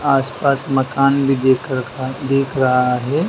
आसपास मकान भी देख रखा देख रहा है।